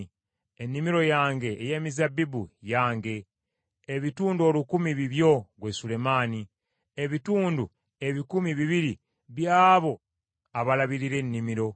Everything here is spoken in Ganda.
Ennimiro yange ey’emizabbibu, yange, ebitundu olukumi bibyo ggwe Sulemaani, ebitundu ebikumi bibiri by’abo abalabirira ennimiro.